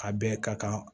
A bɛɛ ka kan